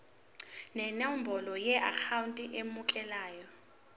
nenombolo yeakhawunti emukelayo